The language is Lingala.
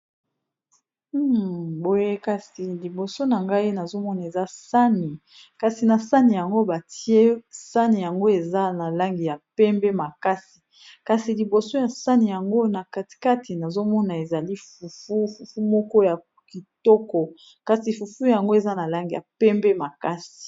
Boye kasi liboso na ngai nazomona eza saani, kasi na saani yango eza na langi ya mpembe makasi kasi liboso ya sani yango na katikati, nazomona ezali fufu, fufu moko ya kitoko, kasi fufu yango eza na langi ya pembe makasi.